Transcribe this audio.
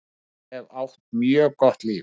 Ég hef átt mjög gott líf.